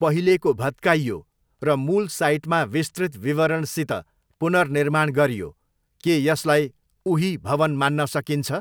पहिलेको भत्काइयो र मूल साइटमा विस्तृत विवरणसित पुनर्निर्माण गरियो, के यसलाई 'उही' भवन मान्न सकिन्छ?